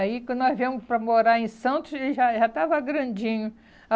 Aí, quando nós viemos para morar em Santos, ele já eh, já estava grandinho.